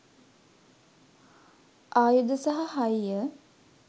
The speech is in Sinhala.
ආයුධ සහ හය්ය